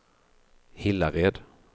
Hillared